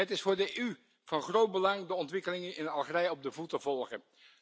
Het is voor de EU van groot belang de ontwikkelingen in Algerije op de voet te volgen.